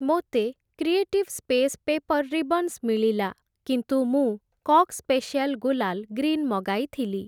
ମୋତେ creative space paper ribbons ମିଳିଲା କିନ୍ତୁ ମୁଁ କକ୍ ସ୍ପେସିୟାଲ୍‌ ଗୁଲାଲ୍‌ ଗ୍ରୀନ୍‌ ମଗାଇଥିଲି ।